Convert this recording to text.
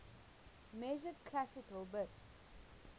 measured classical bits